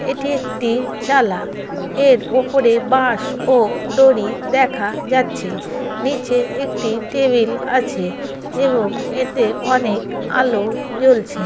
এটি একটি চালা এর ওপরে বাস ও দড়ি দেখা যাচ্ছে নিচে একটি টেবিল আছে এবং এতে অনেক আলো জ্বলছে ।